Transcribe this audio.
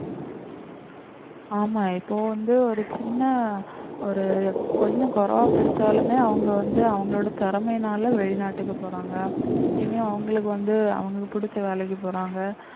ஆமா இப்போ வந்து ஒரு சின்ன ஒரு கொஞ்சம் குறைவா படிச்சாலுமே அவங்க வந்து அவங்களோட திறமையினால வெளிநாட்டுக்கு போறாங்க இனி அவங்களுக்கு வந்து அவங்களுக்கு புடிச்ச வேலைக்கு போறாங்க